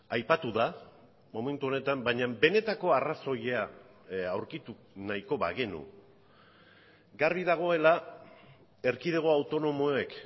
aipatu da momentu honetan baina benetako arrazoia aurkitu nahiko bagenu garbi dagoela erkidego autonomoek